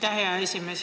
Aitäh, hea esimees!